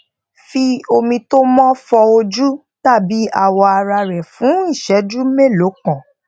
fi omi tó mó fọ ojú tàbí awọ ara rẹ fún ìṣéjú mélòó kan